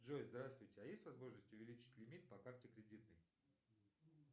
джой здравствуйте а есть возможность увеличить лимит по карте кредитной